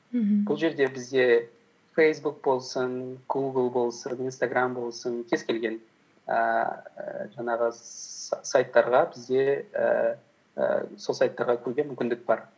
мхм бұл жерде бізде фейсбук болсын гугл болсын инстаграм болсын кез келген ііі жаңағы сайттарға бізде ііі сол сайттарға кіруге мүмкіндік бар